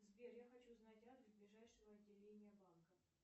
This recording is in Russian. сбер я хочу знать адрес ближайшего отделения банка